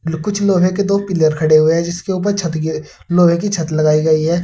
कुछ लोहे के दो पिलर खड़े हुए हैं जिसके ऊपर छत के लोहे की छत लगाई गई है।